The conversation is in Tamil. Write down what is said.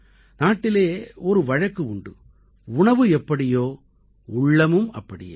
நாட்டிலே ஒரு வழக்கு உண்டு உணவு எப்படியோ உள்ளமும் அப்படியே